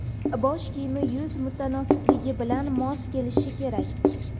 Bosh kiyimi yuz mutanosibligi bilan mos kelishi kerak.